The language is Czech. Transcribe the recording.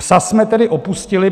"Psa" jsme tedy opustili.